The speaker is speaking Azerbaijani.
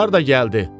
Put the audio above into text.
Harda gəldi.